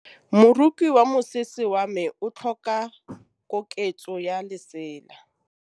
Moroki wa mosese wa me o tlhoka koketsô ya lesela.